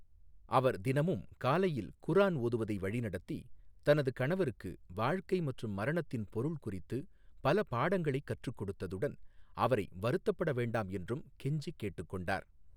அவர் தினமும் காலையில் குர்ஆன் ஓதுவதை வழிநடத்தி, தனது கணவருக்கு வாழ்க்கை மற்றும் மரணத்தின் பொருள் குறித்து பல பாடங்களைக் கற்றுக் கொடுத்ததுடன் அவரை வருத்தப்பட வேண்டாம் என்றும் கெஞ்சி கேட்டுக்கொண்டார்.